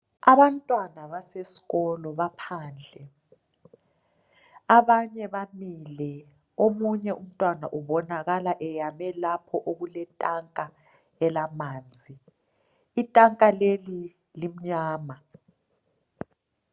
Abantwana basesikolo baphandle abanye bamile omunye umntwana ubonakala eyame lapha okuletanka lamanzi itanka leli limnyama